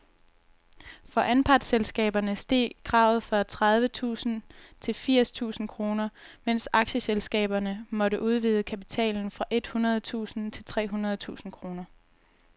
For anpartsselskaberne steg kravet fra tredive tusind til firs tusind kroner, mens aktieselskaberne måtte udvide kapitalen fra et hundrede tusind til tre hundrede tusind kroner.